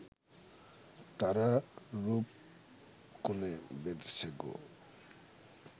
তারা রূপ-গুণে বেঁধেছে গো